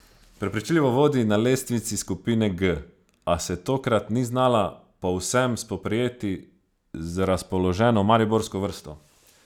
Prepričljivo vodi na lestvici skupine G, a se tokrat ni znala povsem spoprijeti z razpoloženo mariborsko vrsto.